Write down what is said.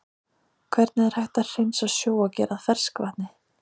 Hvernig er hægt að hreinsa sjó og gera að ferskvatni?